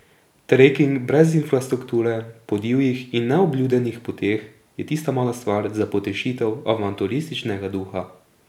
Treking brez infrastrukture, po divjih in neobljudenih poteh, je tista mala stvar za potešitev avanturističnega duha.